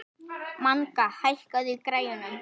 Manga, hækkaðu í græjunum.